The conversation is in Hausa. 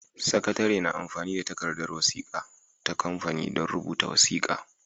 Sakatare na amfani da takardar wasiƙa ta kamfani don rubuta wasiƙa.